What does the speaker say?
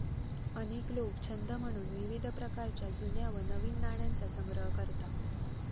अनेक लोक छंद म्हणून विविध प्रकारच्या जुन्या व नवीन नाण्यांचा संग्रह करतात